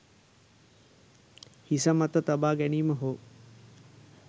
හිස මත තබා ගැනීම හෝ